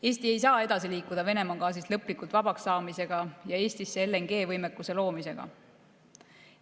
Eesti ei saa edasi liikuda Venemaa gaasist lõplikult vabaks saamisega ja Eestisse LNG‑võimekuse loomisega.